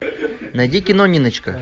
найди кино ниночка